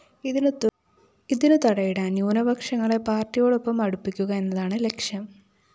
ഇതിനു തടയിടാന്‍ ന്യൂനപക്ഷങ്ങളെ പാര്‍ട്ടിയോടൊപ്പം അടുപ്പിക്കുക എന്നതാണ് ലക്ഷ്യം